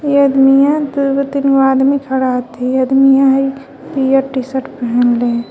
इ अदमिया दुगो तीन गो आदमी खड़ा हथी अदमिया हइ पियर टी_शर्ट पहिनले.